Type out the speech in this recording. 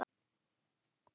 Hvað skyldi nú valda því?